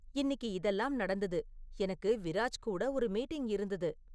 இன்னிக்கு இதெல்லாம் நடந்துது எனக்கு விராஜ் கூட ஒரு மீட்டிங் இருந்துது